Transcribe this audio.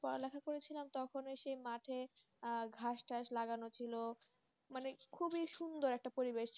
পড়া লেখা করেছিলাম তখন সেই মাঠে ঘাসটাস লাগানো ছিল মানে খুবই সুন্দর একটা পরিবেশ,